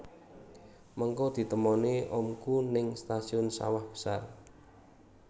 Mengko ditemoni omku ning stasiun Sawah Besar